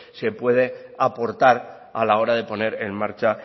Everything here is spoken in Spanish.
se puede aportar a la hora de poner en marcha